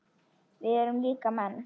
Við erum líka menn.